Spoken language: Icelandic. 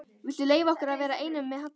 Viltu leyfa okkur að vera einum með Halla?